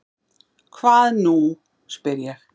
Hvað nú? spyr ég.